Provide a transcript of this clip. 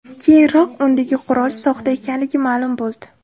Keyinroq, undagi qurol soxta ekanligi ma’lum bo‘ldi.